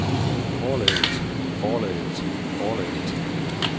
forlaget forlaget forlaget